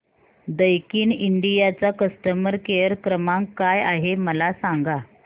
Daikin India चा customer care क्रमांक काय आहे मला सांगा